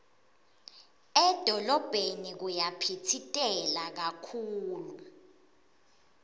edolobheni kuyaphitsitela kakhulu